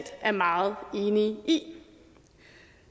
er meget enige i